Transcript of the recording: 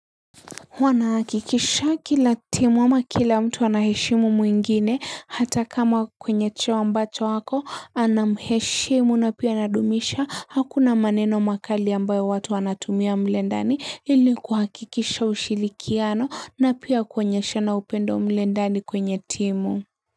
huWa nahakikisha kila timu ama kila mtu anaheshimu mwingine hata kama kwenye cheo ambacho ako anamheshimu na pia anadumisha hakuna maneno makali ambayo watu wanatumia mle ndani ili kuhakikisha ushirikiano na pia kuonyeshana upendo mlendani kwenye timu.